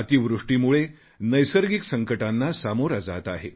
अतिवृष्टीमुळे नैसर्गिक संकटांना सामोरा जात आहे